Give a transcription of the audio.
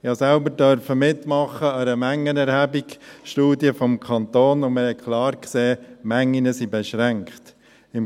Ich durfte selbst bei einer Mengenerhebungsstudie des Kantons mitmachen, und wir haben klar gesehen, dass die Mengen beschränkt sind.